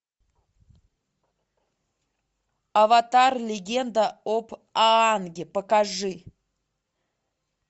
аватар легенда об аанге покажи